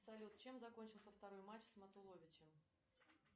салют чем закончился второй матч с матуловичем